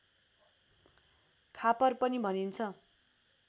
खापर पनि भनिन्छ